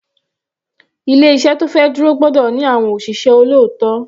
Ilé iṣẹ́ tó fẹ́ dúró gbọ́dọ̀ ní àwọn òṣìṣẹ́ olóòótọ́.